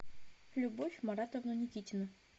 любовь маратовну никитину